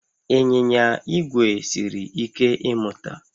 Ịnyịnya igwe siri ike ịmụta